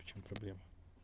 в чём проблема